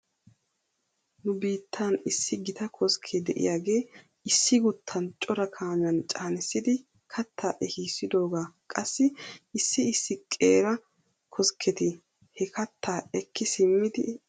Nu biittan issi gita koskke de'iyaagee issi guuttan cora kaamiyan caanissidi kattaa ehissidoogaa qassi issi issi qeera koskketi he kattaa ekki simmidi ayssi al''ettiyoonaa?